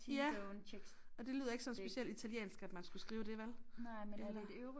Ja og det lyder ikke sådan specielt italiensk at man skulle skrive det vel? Eller